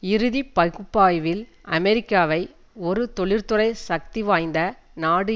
இறுதி பகுப்பாய்வில் அமெரிக்காவை ஒரு தொழிற்துறை சக்திவாய்ந்த நாடு